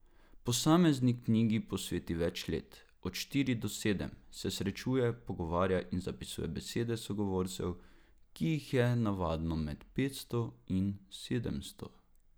Posamezni knjigi posveti več let, od štiri do sedem, se srečuje, pogovarja in zapisuje besede sogovorcev, ki jih je navadno med petsto in sedemsto.